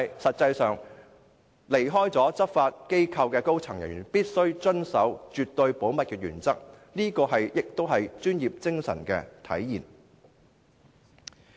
實際上，離開執法機構的高層人員必須遵守絕對保密的原則，這是專業精神的體現。